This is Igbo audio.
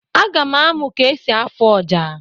Aga m amụ ka esi afu ọjà